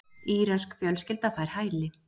Írönsk fjölskylda fær hæli